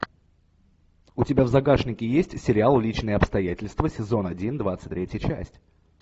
у тебя в загашнике есть сериал личные обстоятельства сезон один двадцать третья часть